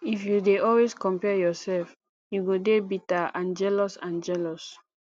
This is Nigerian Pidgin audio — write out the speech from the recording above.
if you dey always compare yourself you go dey bitter and jealous and jealous